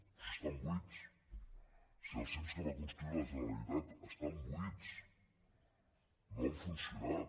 però si es tan buits si els cim que va construir la generalitat estan buits no han funcionat